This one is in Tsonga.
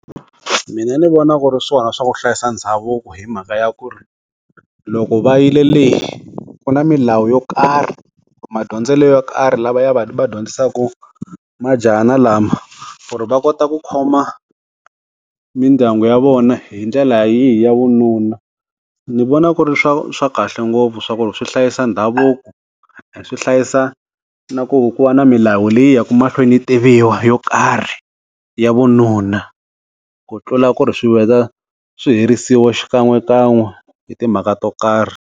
Mina ni vona ku ri swona swa ku hlayisa ndhavuko hi mhaka ya ku ri, loko va yile le, ku na milawu yo karhi, madyondzele yo karhi lava ya vadyondzisaku majahana lama. Ku ri va kota ku khoma mindyangu ya vona hi ndlela yihi ya vununa. Ndzi vona ku ri swa swa kahle ngopfu swa ku ri swi hlayisa ndhavuko, swi hlayisa na ku ku va na milawu leyi yaka mahlweni yi tiviwa yo karhi ya vununa. Ku tlula ku i swi vheta swi herisiwa xikan'wekan'we hi timhaka to karhi.